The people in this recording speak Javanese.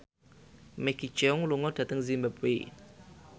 Maggie Cheung lunga dhateng zimbabwe